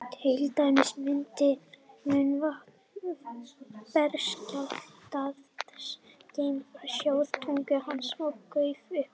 til dæmis myndi munnvatn berskjaldaðs geimfara sjóða á tungu hans og gufa upp